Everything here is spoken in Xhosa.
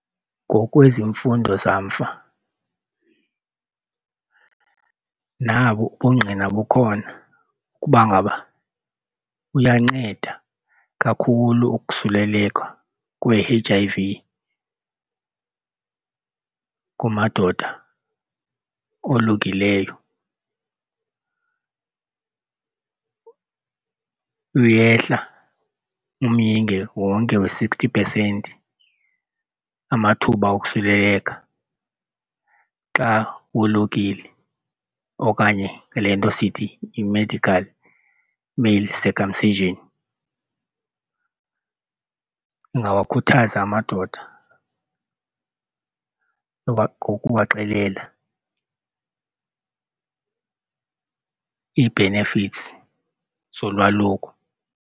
Ngokwezemfundo zamva nabo ubungqina bukhona ukuba ngaba uyanceda kakhulu ukusuleleka kwe-H_I_V kumadoda olukileyo. Uyehla umyinge wonke we-sixty percent amathuba okusuleleka xa wolukile okanye le nto sithi yi-medical male circumcision. Ungawakhuthaza amadoda ukuba kubaxelela ii-benefits zolwaluko.